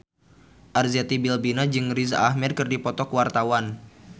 Arzetti Bilbina jeung Riz Ahmed keur dipoto ku wartawan